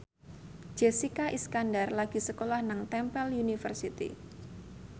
Jessica Iskandar lagi sekolah nang Temple University